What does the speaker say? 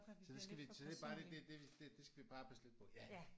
Så det skal vi så det er bare lige det det det det skal vi bare passe lidt på